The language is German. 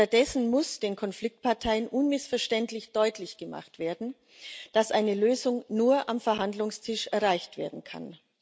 Stattdessen muss den Konfliktparteien unmissverständlich deutlich gemacht werden, dass eine Lösung nur am Verhandlungstisch erreicht werden kann.